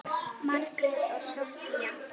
Margrét og Soffía.